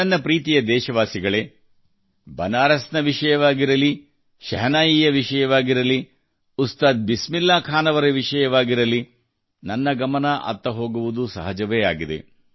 ನನ್ನ ಪ್ರೀತಿಯ ದೇಶವಾಸಿಗಳೇ ಬನಾರಸ್ ವಿಷಯವಾಗಿರಲಿ ಶಹನಾಯಿ ವಿಷಯವಾಗಿರಲಿ ಉಸ್ತಾದ್ ಬಿಸ್ಮಿಲ್ಲಾ ಖಾನ್ ವಿಷಯವಾಗಿರಲಿ ನನ್ನ ಗಮನ ಅತ್ತ ಹೋಗುವುದು ಸಹಜವೇ ಆಗಿದೆ